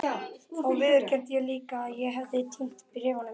Þá viðurkenndi ég líka að ég hefði týnt bréfunum.